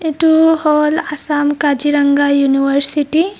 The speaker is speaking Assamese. এইটো হ'ল আসাম কাজিৰঙা ইউনিভাৰ্ছিটি .